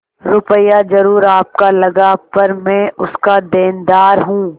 रुपया जरुर आपका लगा पर मैं उसका देनदार हूँ